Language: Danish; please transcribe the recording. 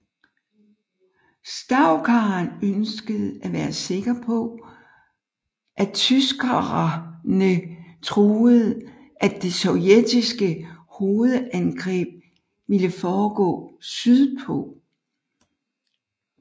Stavkaen ønskede at være sikker på at tyskerene troede at det sovjetiske hovedangreb ville foregå sydpå